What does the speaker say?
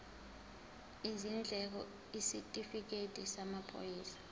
izindleko isitifikedi samaphoyisa